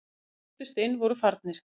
Þeir sem brutust inn voru farnir